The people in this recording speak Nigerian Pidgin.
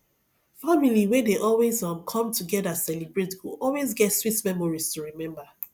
family wey dey always um come together celebrate go always get sweet memories to remember